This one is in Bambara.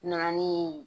Na ni